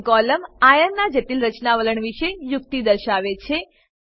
spin column આયર્નનાં જટિલ રચના વલણ વિશે યુક્તિ દર્શાવે છે